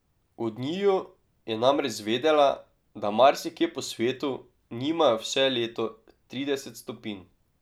Od njiju je namreč zvedela, da marsikje po svetu nimajo vse leto trideset stopinj.